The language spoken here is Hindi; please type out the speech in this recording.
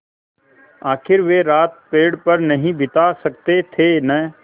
आखिर वे रात पेड़ पर नहीं बिता सकते थे न